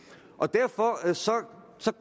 derfor